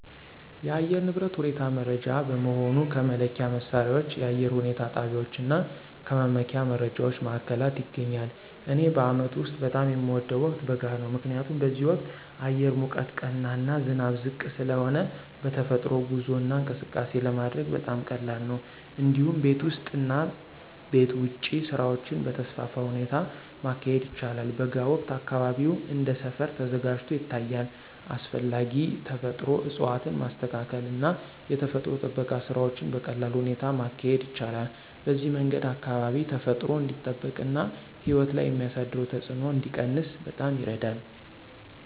የአየር ንብረት ሁኔታ መረጃ በመሆኑ ከመለኪያ መሣሪያዎች፣ የአየር ሁኔታ ጣቢያዎች እና ከመመኪያ መረጃ ማዕከላት ይገኛል። እኔ በአመቱ ውስጥ በጣም የሚወደው ወቅት በጋ ነው። ምክንያቱም በዚህ ወቅት አየር ሙቀት ቀና እና ዝናብ ዝቅ ስለሆነ በተፈጥሮ ጉዞ እና እንቅስቃሴ ለማድረግ በጣም ቀላል ነው። እንዲሁም ቤት ውስጥ እና ቤት ውጭ ስራዎችን በተስፋፋ ሁኔታ ማካሄድ ይቻላል። በጋ ወቅት አካባቢው እንደ ሰፈር ተዘጋጅቶ ይታያል፣ አስፈላጊ ተፈጥሮ እፅዋትን ማስተካከል እና የተፈጥሮ ጥበቃ ስራዎችን በቀላል ሁኔታ ማካሄድ ይቻላል። በዚህ መንገድ አካባቢ ተፈጥሮ እንዲጠበቅ እና ሕይወት ላይ የሚያሳደረው ተጽዕኖ እንዲቀነስ በጣም ይረዳል።